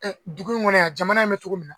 Dugu in kɔnɔ yan jamana in bɛ cogo minna